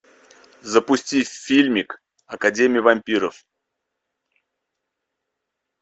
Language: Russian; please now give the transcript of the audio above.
запусти фильмик академия вампиров